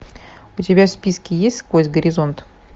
у тебя в списке есть сквозь горизонт